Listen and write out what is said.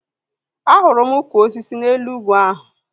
Ahụrụ m ụkwụ osisi n'elu ugwu ahu